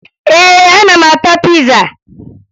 Ee, ana m ata piza